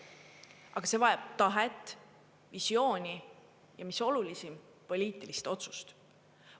Aga see vajab tahet, visiooni, ja mis olulisim, poliitilist otsust.